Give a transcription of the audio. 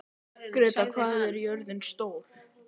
Grétar, hvað er jörðin stór?